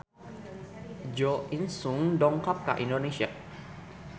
Jo In Sung dongkap ka Indonesia